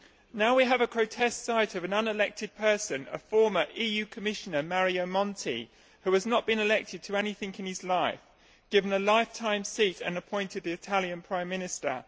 Now we have the grotesque sight of an unelected person a former EU Commissioner, Mario Monti, who has not been elected to anything in his life given a lifetime seat and appointed Italian Prime Minister.